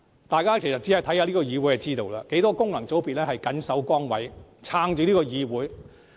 大家看看這個議會便會明白，很多功能界別議員都謹守崗位，支撐着整個議會。